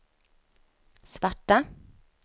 svarta